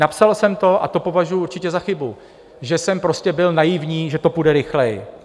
Napsal jsem to a to považuji určitě za chybu, že jsem prostě byl naivní, že to půjde rychleji.